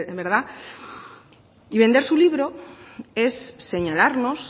verdad y vender su libro es señalarnos